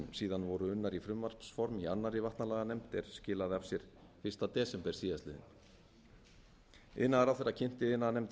síðan voru unnar í frumvarpsform í annarri vatnalaganefnd er skilaði af sér fyrsta desember síðastliðinn iðnaðarráðherra kynnti iðnaðarnefnd